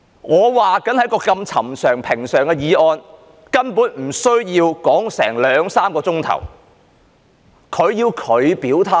我說就一項這麼尋常、平常的議案，根本不需要辯論兩三小時，但他要作出表態。